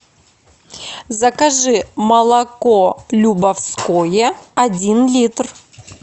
закажи молоко любовское один литр